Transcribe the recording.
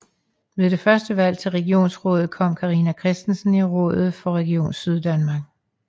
Ved det første valg til regionsrådet kom Carina Christensen i rådet for Region Syddanmark